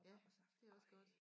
Ja det er også godt